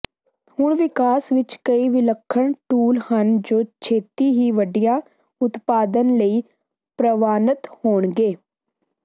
ਹੁਣ ਵਿਕਾਸ ਵਿੱਚ ਕਈ ਵਿਲੱਖਣ ਟੂਲ ਹਨ ਜੋ ਛੇਤੀ ਹੀ ਵੱਡੀਆਂ ਉਤਪਾਦਨ ਲਈ ਪ੍ਰਵਾਨਤ ਹੋਣਗੇ